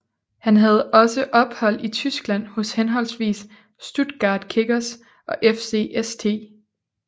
Han havde også ophold i Tyskland hos henholdsvis Stuttgarter Kickers og FC St